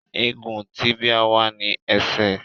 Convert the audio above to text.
Egun tíbíà wà ní ẹsẹ̀